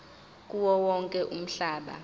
kuwo wonke umhlaba